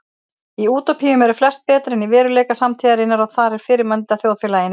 Í útópíum eru flest betra en í veruleika samtíðarinnar og þar er fyrirmyndarþjóðfélaginu lýst.